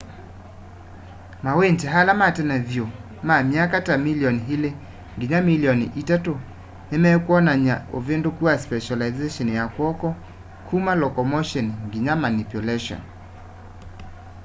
mawindi ala matene vyu ma myaka ta milioni ili nginya milioni itatu nimekwonany'a uvinduku wa specilization ya kw'oko kuma locomotion nginya manipulation